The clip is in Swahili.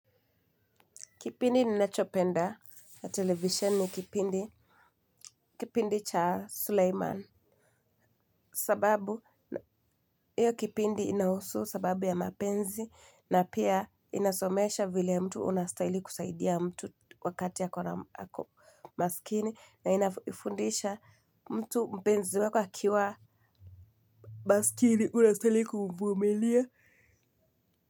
Kipindi ninachopenda ya televisheni ni kipindi. Kipindi cha Sulaiman. Sababu, hiyo kipindi inahusu sababu ya mapenzi na pia inasomesha vile mtu unastaili kusaidia mtu wakati ako na masikini na inafundisha mtu mpenzi wako akiwa masikini unastaili kumvumilia.